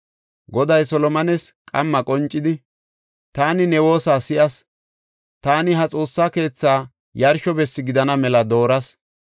Goday Solomones qamma qoncidi, “Taani ne woosa si7as; taani ha Xoossa keethaa yarsho bessi gidana mela dooras.